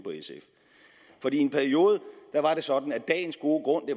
på sf i en periode var det sådan at dagens gode grund